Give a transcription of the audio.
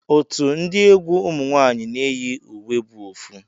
Otu ndi egwu ụmụnwanyi na eyi uwe bu ofu.